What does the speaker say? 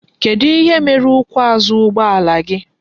Kedu ihe mere ukwu azu ugbo ala?